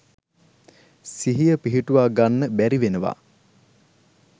සිහිය පිහිටුවා ගන්න බැරිවෙනවා.